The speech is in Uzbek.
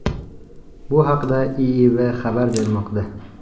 Bu haqda IIV xabar bermoqda .